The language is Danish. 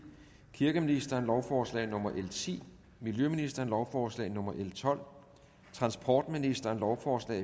kirkeministeren lovforslag nummer l ti miljøministeren lovforslag nummer l tolv transportministeren lovforslag